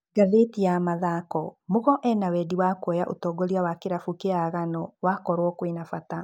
(Ngathĩti ya mathako) Mugo ena wendi wa kuoya ũtongoria wa kĩrabu kĩa Agano wakorwo kwĩna bata.